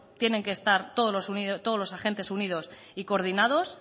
tienen que estar todos los agentes unidos y coordinados